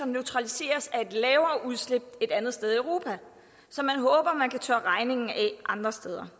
neutraliseres af et lavere udslip et andet sted i europa så man håber at man kan tørre regningen af andre steder